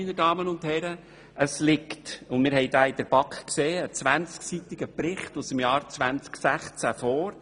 Hierzu liegt ein 20-seitiger Bericht aus dem Jahr 2016 vor.